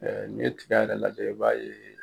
N'i ye tigɛ yɛrɛ lajɛ i b'a ye